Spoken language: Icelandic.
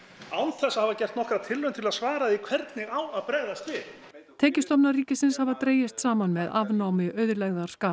án þess að hafa gert nokkra tilraun til að svara hvernig á að bregðast við tekjustofnar ríkisins hafa dregist saman með afnámi auðlegðarskatts